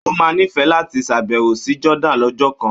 Ó máa nífẹ̀ẹ́ láti ṣàbẹ̀wò sí Jordan lọ́jọ́ kan.